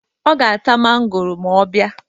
Ọ ga-ata mangoro ma ọ bịa